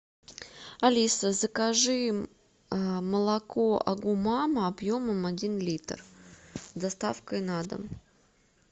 алиса закажи молоко агу мама объемом один литр с доставкой на дом